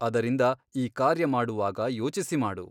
ಅದರಿಂದ ಈ ಕಾರ್ಯಮಾಡುವಾಗ ಯೋಚಿಸಿ ಮಾಡು.